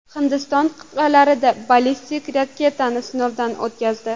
Hindiston qit’alararo ballistik raketani sinovdan o‘tkazdi.